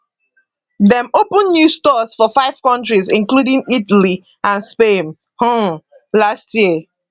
dem open new stores for five countries including italy and spain um last year